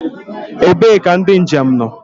Ebee ka ndị njem nọ?